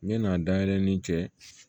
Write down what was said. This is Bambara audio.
Ɲan'a dayɛlɛ ni cɛ ye